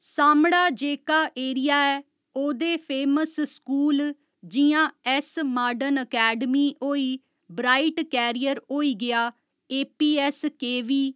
सामढ़ा जेह्का एरिया ऐ ओह्दे फेमस स्कूल जि'यां ऐस्स मार्डनअकैडमी होई ब्राईट कैरियर होई गेआ एपी ऐस्स केवी